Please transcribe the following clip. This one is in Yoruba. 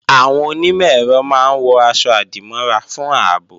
Àwọn onímọ̀-ẹ̀rọ máa ń wọ̀ aṣọ-àdìmọ́ra fún ààbò